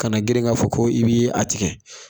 Kana grin k'a fɔ ko i bi a tigɛ